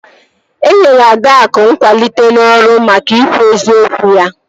E nyere Adaakụ nkwalite n'ọrụ maka ikwu eziokwu ya